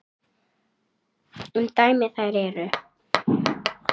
Sem dæmi um þær eru